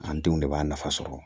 An denw de b'a nafa sɔrɔ